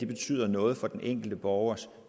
betyder noget for den enkelte borgers